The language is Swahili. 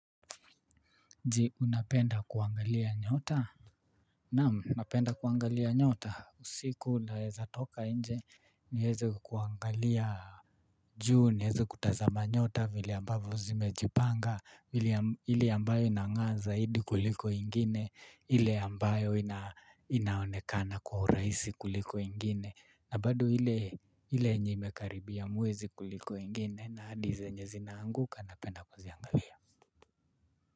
Je unapenda kuangalia nyota? Naam ninapenda kuangalia nyota usiku naweza toka nje niweze kuangalia juu niweze kutazama nyota vile ambapo zimejipanga ile ambayo inangaa zaidi kuliko ingine ili ambayo inaonekana kwa urahisi kuliko ingine na badi ile imekaribia mwezi kuliko ingine na hadi zenye zinaanguka napenda kuziangalia.